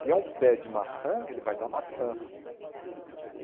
Se é um pé de maçã, ele vai dar maçãs.